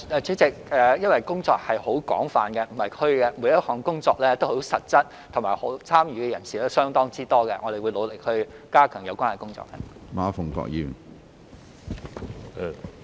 主席，因為工作很廣泛，並不是"虛"，每一項工作都很實質，參與的人士亦相當多，我們會努力加強有關工作。